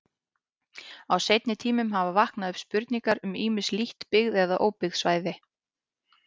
Á seinni tímum hafa vaknað upp spurningar um ýmis lítt byggð eða óbyggð svæði.